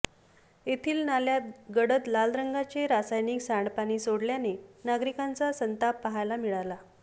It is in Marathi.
येथील नाल्यात गडद लाल रंगाचे रासायनिक सांडपाणी सोडल्याने नागरकांचा संताप पाहायला मिळाला